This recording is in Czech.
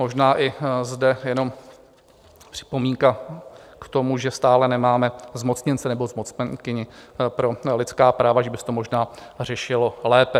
Možná i zde jenom připomínka k tomu, že stále nemáme zmocněnce nebo zmocněnkyni pro lidská práva, že by se to možná řešilo lépe.